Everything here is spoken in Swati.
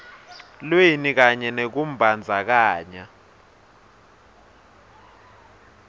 lweni kanye nekumbandzakanya